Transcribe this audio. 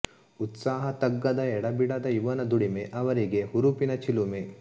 ಉತ್ಸಾಹ ತಗ್ಗದ ಎಡೆಬಿಡದ ಇವನ ದುಡಿಮೆ ಅವರಿಗೆ ಹುರುಪಿನ ಚಿಲುಮೆ